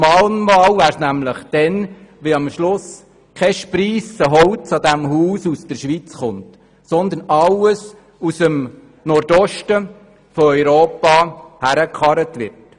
Ein Mahnmal wäre es dann, wenn am Schluss «kei Spriisse» Holz an diesem Gebäude aus der Schweiz stammt, und alles aus dem Nordosten von Europa herangekarrt wird.